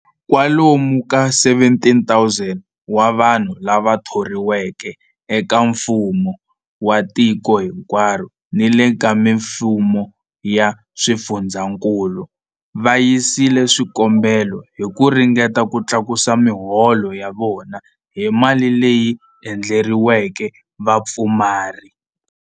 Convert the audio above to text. Kwa lomu ka 17,000 wa vanhu lava thoriweke eka mfumo wa tiko hinkwaro ni le ka mifumo ya swifundzankulu va yisile swikombelo hi ku ringeta ku tlakusa miholo ya vona hi mali leyi endleriweke vapfumari.